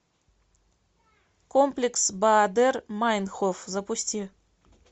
комплекс баадер майнхоф запусти